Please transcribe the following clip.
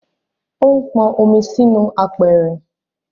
O n pọn omi sì inú apẹ̀rẹ̀